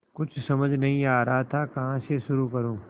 कुछ समझ नहीं आ रहा था कहाँ से शुरू करूँ